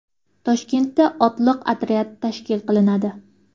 Toshkentda otliq otryad tashkil qilinadi .